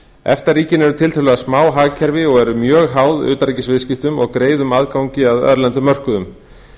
efta ríkin eru tiltölulega smá hagkerfi sem eru mjög háð utanríkisviðskiptum og greiðum aðgangi að erlendum mörkuðum